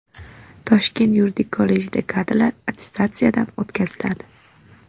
Toshkent yuridik kollejida kadrlar attestatsiyadan o‘tkaziladi.